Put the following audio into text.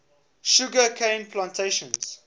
sugar cane plantations